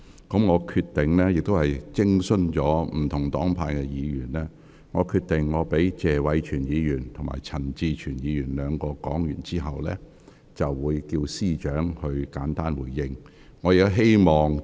經徵詢各黨派議員的意見，我決定在謝偉銓議員和陳志全議員兩位發言完畢後，便會請政務司司長作簡單回應。